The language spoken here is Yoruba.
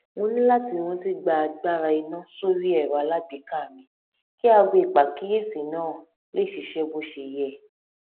mo ní láti rántí gba agbára iná sórí ẹrọ alágbèéká mi kí aago ìpàkíyèsí náà lè ṣiṣé bó ṣe yẹ